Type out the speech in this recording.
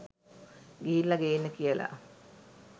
ගිහිල්ල ගේන්න කියල